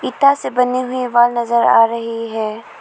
इटा से बनी हुई वाल नजर आ रही है।